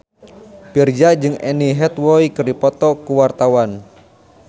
Virzha jeung Anne Hathaway keur dipoto ku wartawan